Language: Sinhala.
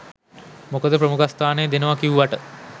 මොකද ප්‍රමුඛස්ථානය දෙනවා කිව්වට